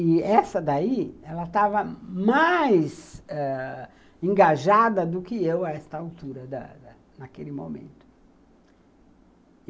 E essa daí, ela estava mais engajada do que eu a esta altura da da, naquele momento.